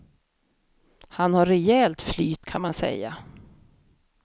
Han har rejält flyt, kan man säga.